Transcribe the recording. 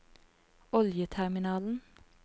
oljeterminalen